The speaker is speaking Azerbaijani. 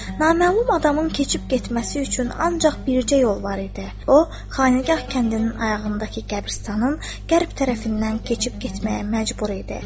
Naməlum adamın keçib getməsi üçün ancaq bircə yol var idi: o, Xaneygah kəndinin ayağındakı qəbirstanın qərb tərəfindən keçib getməyə məcbur idi.